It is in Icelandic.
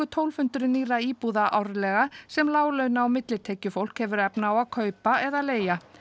tólf hundruð nýrra íbúða árlega sem láglauna og millitekjufólk hefur efni á að kaupa eða leigja